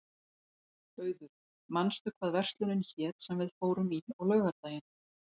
Auður, manstu hvað verslunin hét sem við fórum í á laugardaginn?